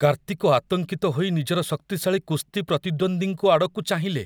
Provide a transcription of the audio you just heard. କାର୍ତ୍ତିକ ଆତଙ୍କିତ ହୋଇ ନିଜର ଶକ୍ତିଶାଳୀ କୁସ୍ତି ପ୍ରତିଦ୍ୱନ୍ଦ୍ୱୀଙ୍କ ଆଡ଼କୁ ଚାହିଁଲେ।